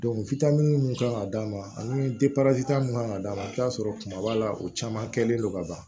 mun kan ka d'a ma ani mun kan ka d'a ma i bɛ t'a sɔrɔ kumaba la o caman kɛlen don ka ban